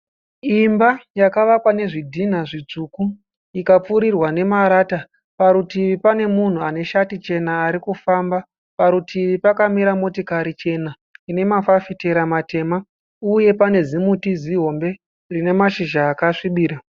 Imba yakavakwa nezvidhinha zvitsvuku ikapfurirwa nemarata. Parutivi pane munhu ane shati chena ari kufamba. Parutivi pakamira motokari chena ine mafafitera matema uye pane zimuti zihombe rine mashizha akasvibira.